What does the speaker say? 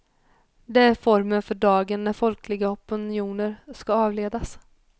Det är formeln för dagen när folkliga opinioner ska avledas.